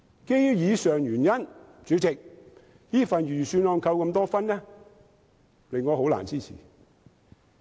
基於以上原因，代理主席，這份預算案被扣了那麼多分數，令我難以支持。